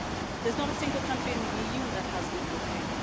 There's not a single country in the EU that has equal pay.